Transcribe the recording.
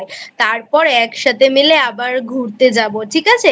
তারপর একসাথে মিলে আবারঘুরতে যাব ঠিক আছে?